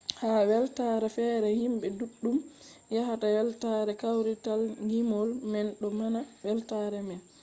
ha weltaare fere himɓe ɗuɗɗum yahata weltare kawrital ngimol man ɗo mana weltaare man